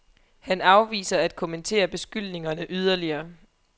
Han afviser at kommentere beskyldningerne yderligere.